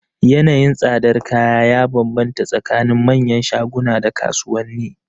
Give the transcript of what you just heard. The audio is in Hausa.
Yanayin tsadar kaya ya banbanta tsakanin manyan shaguna da kasuwanni.